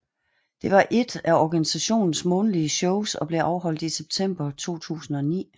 Det var ét af organisationens månedlige shows og blev afholdt i september 2009